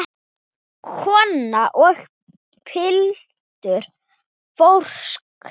Kona og piltur fórust.